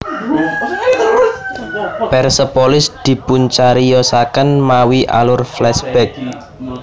Persepolis dipuncariyosaken mawi alur flashback